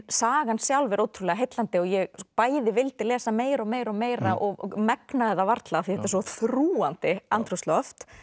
sagan sjálf er ótrúlega heillandi og ég bæði vildi lesa meira og meira og meira og megnaði það varla því þetta er svo þrúgandi andrúmsloft